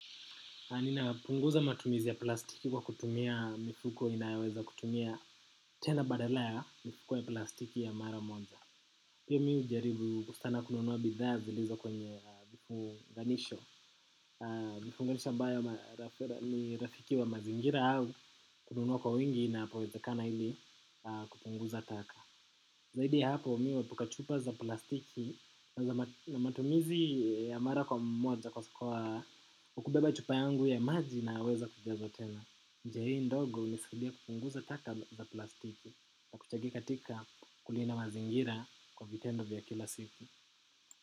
Na ninapunguza matumizi ya plastiki kwa kutumia mifuko inaweza kutumia tena badala ya mifuko ya plastiki ya mara moja. Pia mimi hujaribu ustana kununwa bidhaa zilizo kwenye vifunganisho. Mifunganisho ambayo ni rafiki wa mazingira au kununua kwa wingi inapowezekana ili kupunguza taka. Zaidi ya hapo mimi huepuka chupa za plastiki na matumizi ya mara kwa mmoja kwa kubeba chupa yangu ya maji naweza kujaza tena. Njia hii ndogo hunisaidia kupunguza taka za plastiki na kuchangia katika kulinda mazingira kwa vitendo vya kila siku.